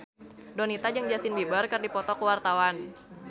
Donita jeung Justin Beiber keur dipoto ku wartawan